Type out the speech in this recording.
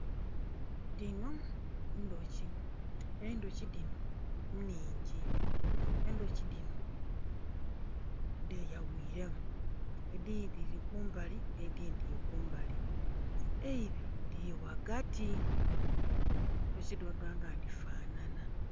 Dhino ndhoki, endhoki dhino nnhingi, endhoki dhino dhe ya ghuiremu edindhi dhiri kumbali nhe dindhi dhiri kumbali eibiri dhiri ghagati endhoki dhino dhona dhona dhi fanana.